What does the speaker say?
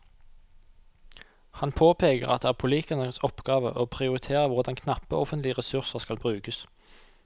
Han påpeker at det er politikernes oppgave å prioritere hvordan knappe offentlige ressurser skal brukes.